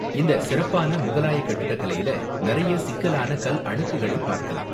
இந்த சிறப்பான முகலாய கட்டிடக்கலையில நிறைய சிக்கலான கல் அடுக்குகளை பார்க்கலாம்.